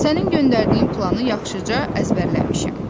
Sənin göndərdiyin planı yaxşıca əzbərləmişəm.